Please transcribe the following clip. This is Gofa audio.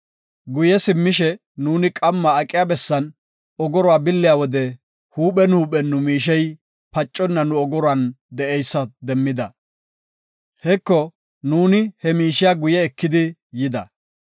Guye simmishe nuuni qamma aqiya bessan ogoruwa billiya wode huuphen huuphen nu miishey paconna nu ogoruwan de7eysa demmida. Heko, nuuni he miishiya guye eki yida.